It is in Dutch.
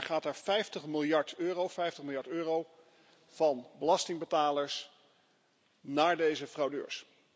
Want elk jaar gaat er 50 miljard euro, 50 miljard euro, van belastingbetalers naar deze fraudeurs.